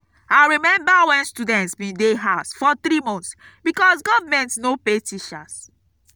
i rememba wen students bin dey house for three months because government no pay teachers